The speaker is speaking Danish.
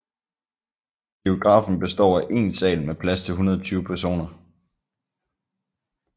Biografen består af én sal med plads til 120 personer